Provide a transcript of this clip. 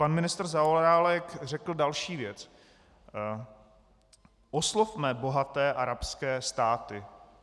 Pan ministr Zaorálek řekl další věc: Oslovme bohaté arabské státy.